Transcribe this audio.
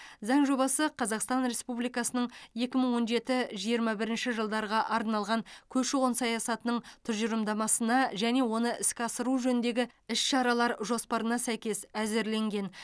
заң жобасы қазақстан республикасының екі мың он жеті жиырма бірінші жылдарға арналған көші қон саясатының тұжырымдамасына және оны іске асыру жөніндегі іс шаралар жоспарына сәйкес әзірленген